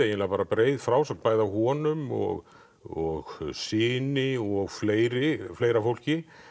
bara breið frásögn bæði á honum og og syni og fleira fleira fólki